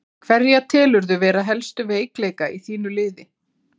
Hverja telurðu vera helstu veikleika í þínu liði?